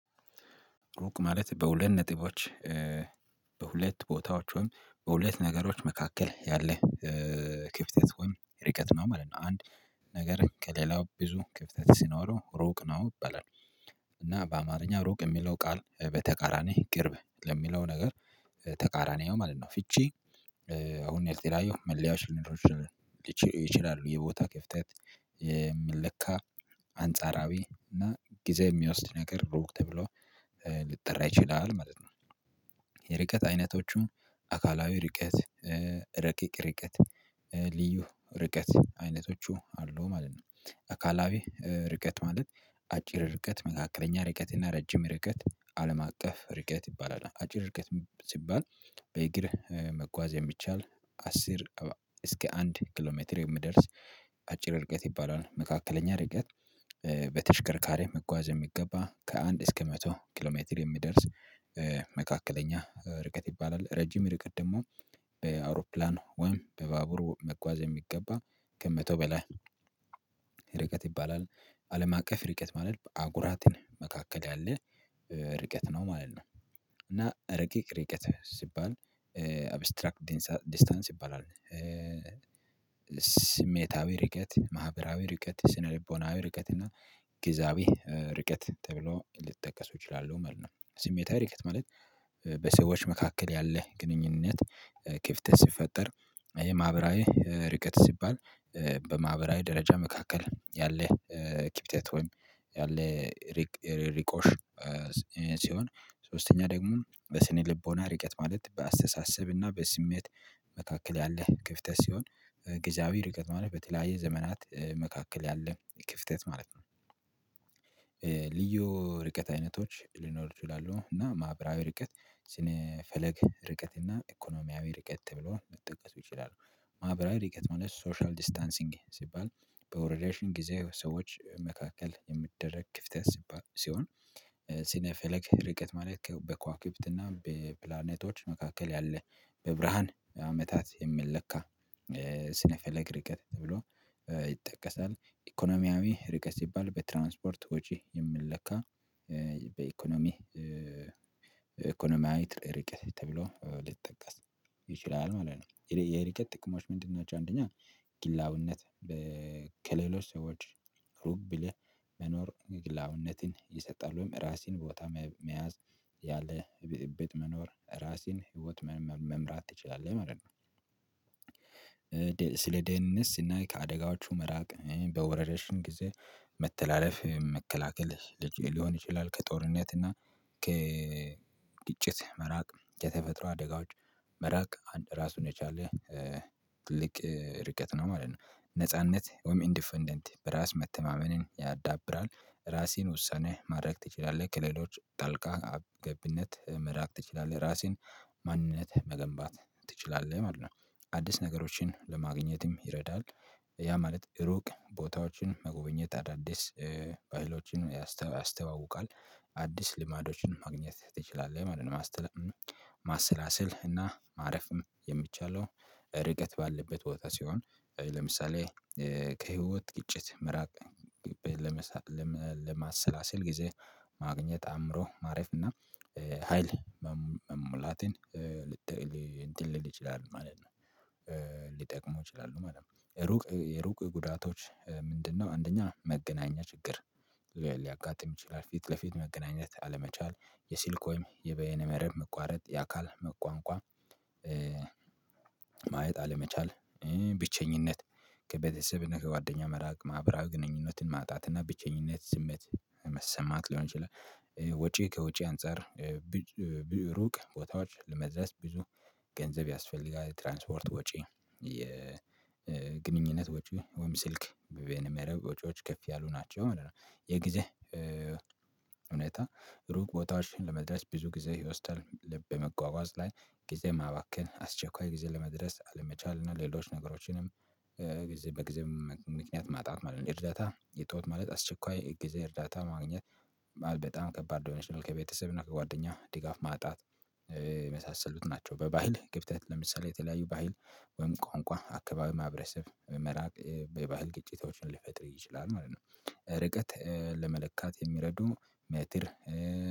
ሩቅ ማለት በሁለት ነጥቦች በሁለት ቦታዎች ወይም በሁለት ነገሮች መካከል ያለ ክፍተት ወይም ርቀት ነው ማለት ነው። አንድ ነገር ከሌላው ብዙ ክፍተት ሲኖረው ሩቅ ነው ይበላል። እና በአማርኛ ሩቅ የሚለው ቃል በተቃራኒ ቅርብ ለሚለው ነገር ተቃራኒ ነው ማለት ነው። ፍቼ አሁን የተለያዩ መለያዎች ሊኖሩ ይችላሉ ይችላል ብዬ ቦታ ክፍተት የምንለካ አንጻራዊ እና ጊዜ የሚወስድ ነገር ሩቅ ተብሎ ሊጠራ ይችላል ማለት ነው። የርቀት አይነቶቹ አካላዊ ርቀት ረቂቅ ርቀት ልዩ ርቀት አይነቶቹ አሉ ማለት ነው። አካላዊ ርቀት ማለት አጭር ርቀት መካከለኛ ርቀት እና ረጅም ርቀት አለም አቀፍ ርቀት ይባላል። አጭር ርቀት ሲባል በእግር መጓዝ የሚቻል አስር እስከ አንድ ኪሎ ሜትር የሚደርስ አጭር እርቀት ይባላል። መካከለኛ እርቀት በተሽከርካሪ መጓዝ የሚገባ ከአንድ እስከ መቶ ኪሎ ሜትር የሚደርስ መካከለኛ ርቀት ይባላል። ረጅም ርቀት ደግሞ በአውሮፕላን ወይም በባቡሩ መጓዝ የሚገባ ከመቶ በላይ ርቀት ይባላል። አለም አቀፍ ርቀት ማለት በአህጉራት መካከል ያለ ርቀት ነው ማለት ነው። እና ረቂቅ ርቀት ሲባል አብስትራክት ዲስታንስ ይባላል። ስሜታዊ ርቀት ማህበራዊ ርቀት ስነልቦናዊ ርቀት እና ግዛዊ ርቀት ተብሎ ሊጠቀሱ እችላለሁ ማለት ነው። ስሜታዊ ርቀት ማለት በሰዎች መካከል ያለ ግንኙነት ክፍተት ሲፈጠር። ይሄ ማህበራዊ ርቀት ሲባል በማህበራዊ ደረጃ መካከል ያለ ክፍተት ወይም ያለ ርቆሽ። ሲሆን ሶስተኛ ደግሞ በስነ ልቦና ርቀት ማለት በአስተሳሰብና በስሜት መካከል ያለ ክፍተት ሲሆን ግዛዊ ርቀት ማለት በተለያየ ዘመናት መካከል ያለ ክፍተት ማለት ነው። ልዩ ርቀት አይነቶች ሊኖሩ ይችላሉ እና ማህበራዊ ርቀት ስነ ፈለግ ርቀት እና ኢኮኖሚያዊ ርቀት ብሎ ሊጠቀሱ ይችላሉ። ርቀት ማለት ሶሻል ዲስታንሲንግ ሲባል በወረርሽኝ ጊዜ ሰዎች መካከል የሚደረግ ክፍተት ሲሆን። ስነ ፈለግ ርቀት ማለት በኳክብት እና በፕላኔቶች መካከል ያለ በብርሃን አመታት የሚለካ ስነ ፈለግ ርቀት ብሎ ይጠቀሳል። ኢኮኖሚያዊ ርቀት ሲባል በትራንስፖርት ወጪ የምንለካ በኢኮኖሚ ኢኮኖሚያዊ ርቀት ተብሎ ሊጠቀስ ይችላል ማለት ነው። የርቀት ጥቅሞች ምንድን ናቸው? አንደኛ ግላዊነት ከሌሎች ሰዎች ሩብ ቢልህ መኖር ግላውነትን ይሰጣሉ ራሴን ቦታ መያዝ ያለ እቤት መኖር ራሴን ህይወት መምራት ትችላለህ አይደለም። ስለ ደህንት ስናይ ከአደጋችሁ መራቅ በወረርሽኝ ጊዜ መተላለፍ መከላከል ሊሆን ይችላል። ከጦርነት እና ከ ከግጭት መራቅ ከተፈጥሮ አደጋዎች መራቅ አንድ ራሱን የቻለ ትልቅ ርቀት ነው ማለት ነው። ነጻነት ወይም ኢንዲፐንደንት በራስ መተማመንን ያዳብራል። ራሴን ወሳኔ ማድረግ ትችላለህ ከሌሎች ጣልቃ ገብነት መራቅ ትችላለህ ራሴን ማንነት መገንባት ትችላለህ ማለት ነው። አዲስ ነገሮችን ለማግኘትም ይረዳል ያ ማለት እሩቅ ቦታዎችን መጎበኘት አዳዲስ ባህሎችን ያስተዋውቃል። አዲስ ልማዶችን ማግኘት ትችላለህ ማለት። ማስላሰል እና ማረፍም የምችለው ርቀት ባለበት ቦታ ሲሆን ለምሳሌ ከህይወት ግጭት መራቅ ለማሰላሰል ጊዜ ማግኘት አእምሮ ማረፍ እና ሀይል መሙላትን ልትል እንትን ልል ይችላል ማለት ነው። ሊጠቅሙ ይችላሉ ማለት ነው። ሩቅ የሩቅ ጉዳቶች ምንድነው? አንደኛ መገናኛ ችግር ሊያጋጥም ይችላል። ፊት ለፊት መገናኘት አለመቻል የስልክ ወይም የበየነ መረብ መቋረጥ የአካል አቋም። ማየት አለመቻል ብቸኝነት ከቤተሰብና ከጓደኛ መራቅ ማህብራዊ ግንኙነትን ማጣትና ብቸኝነት ስሜት መሰማት ሊሆን ይችላል። ወጪ ከወጪ አንፃር ሩቅ ቦታዎች ለመድረስ ብዙ ገንዘብ ያስፈልጋል ትራንስፖርት ወጪ የግንኙነት ወጪ ወይም ስልክ በበይነ መረብ ወጪዎች ከፍ ያሉ ናቸው ማለት ነው። የጊዜ እውነታ ሩቅ ቦታዎችን ለመድረስ ብዙ ጊዜ ይወስዳል። በመጓጓዝ ላይ ጊዜ ማባከን አስቸኳይ ጊዜ ለመድረስ አለመቻል ነው ሌሎች ነገሮችንም በጊዜው ምክንያት ማጣት ማለት ነው። እርዳታ የጠዋት ማለት አስቸኳይ ጊዜ እርዳታ ማግኘት በጣም ከባድ ዶኒሽናል ከቤተሰብ እና ከጓደኛ ድጋፍ ማጣት የመሳሰሉት ናቸው። በባህል ክፍተት ለምሳሌ የተለያዩ ባህል ወይም ቋንቋ አካባቢ ማብረሰብ መራቅ በባህል ግጭቶችን ሊፈጥር ይችላል ማለት ነው። ርቀት ለመለካት የሚረዱ ሜትር